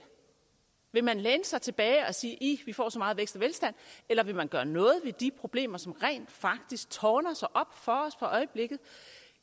vil man læne sig tilbage og sige ih vi får så meget vækst og velstand eller vil man gøre noget ved de problemer som rent faktisk tårner sig op for øjeblikket